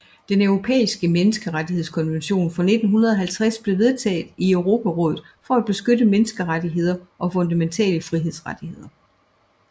Den Europæiske Menneskerettighedskonvention fra 1950 blev vedtaget i Europarådet for at beskytte menneskerettigheder og fundamentale frihedsrettigheder